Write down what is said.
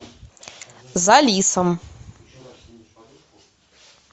за лисом